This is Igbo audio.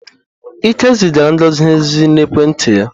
Ike zigara Ngozi ozi n'ekwenti ya.